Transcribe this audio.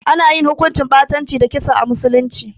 Ana yin hukuncin ɓatanci da kisa a musulunci.